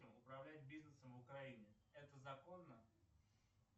управлять бизнесом в украине это законно